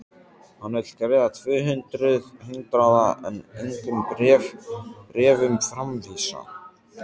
Hann vill greiða tvö hundruð hundraða en engum bréfum framvísa!